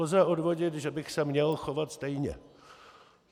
Lze odvodit, že bych se měl chovat stejně.